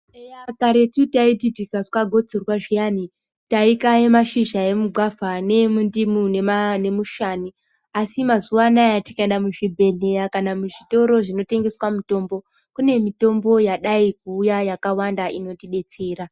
Eya karetu taiti tikazwa gotsorwa zviyani tai kaye mashizha emu gwavha ne mundimu ne mushani asi mazuva anaya tikaenda mu zvibhedhleya kana mu zvitoro zvino tengeswa mutombo kune mitombo yadai kuuya yaka wanda inoti detsera.